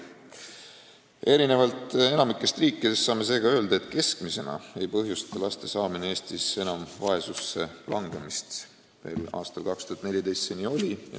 Erinevalt enamikust riikidest saame seega öelda, et keskmiselt võttes ei põhjusta laste saamine Eestis enam vaesusse langemist – veel aastal 2014 see nii oli.